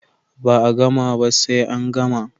Ba a gama ba sai an gama